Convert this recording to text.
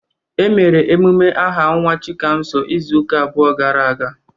Emere emume aha nwa Chikamso izuụka abụọ gara aga.